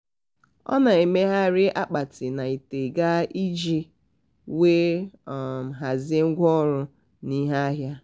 ọ um na-emegharị akpati na ite ga iji wee um hazie ngwaọrụ na ihe ahịa.